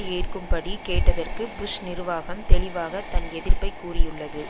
ஏற்கும்படி கேட்டதற்கு புஷ் நிர்வாகம் தெளிவாக தன் எதிர்ப்பை கூறியுள்ளது